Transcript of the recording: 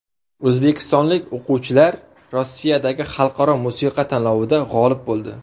O‘zbekistonlik o‘quvchilar Rossiyadagi xalqaro musiqa tanlovida g‘olib bo‘ldi.